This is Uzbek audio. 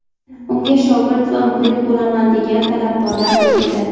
Unga shogird va murid bo‘laman degan talabgorlar ko‘p edi.